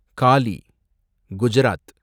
Galle , Gujarat